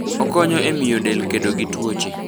Okonyo e miyo del kedo gi tuoche.